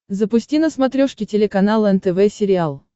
запусти на смотрешке телеканал нтв сериал